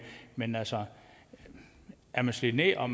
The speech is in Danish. men altså er man slidt ned og